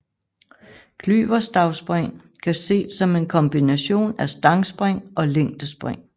Klyverstavspring kan ses som en kombination af stangspring og længdespring